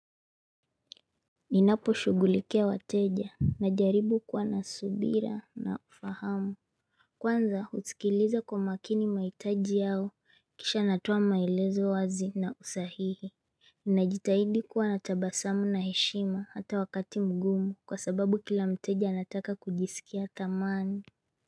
Ninapo shugulikia wateja na jaribu kuwa nasubira na ufahamu Kwanza husikiliza kwa makini mahitaji yao kisha natoa maezo wazi na usahihi Ninajitahidi kuwa natabasamu na heshima hata wakati mgumu kwa sababu kila mteja anataka kujisikia kamani.